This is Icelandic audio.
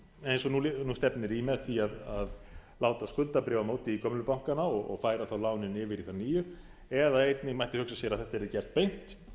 eins og nú stefnir í með því að láta skuldabréfamótið í gömlu bankana og færa þá lánin inn í þá nýju eða einnig mætti hugsa sér að þetta yrði gert beint